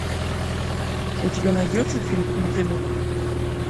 у тебя найдется фильм мотылек